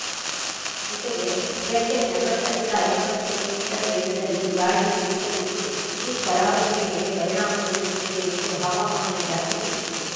ಜೊತೆಗೆ ಗಂಟೆಗೆ ನಲವತ್ತು ರಿಂದ ಐವತ್ತು ಕಿಲೋ ಮೀಟರ್ ವೇಗದಲ್ಲಿ ಗಾಳಿಯೂ ಬೀಸಲಿದ್ದು ಇದು ಕರಾವಳಿಯ ಮೇಲೆ ಪರಿಣಾಮ ಬೀರುತ್ತದೆ ಎಂದು ಹವಾಮಾನ ಇಲಾಖೆ ತಿಳಿಸಿದೆ